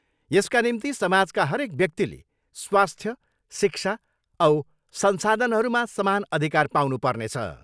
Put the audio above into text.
यसका निम्ति समाजका हरेक व्यक्तिले स्वास्थ्य, शिक्षा औ संसाधनहरूमा समान अधिकार पाउनु पर्नेछ।